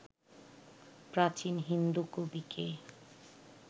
প্রাচীন হিন্দু কবিকে